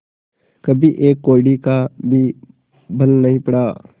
कभी एक कौड़ी का भी बल नहीं पड़ा